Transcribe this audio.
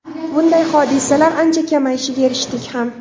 Bunday hodisalar ancha kamayishiga erishdik ham.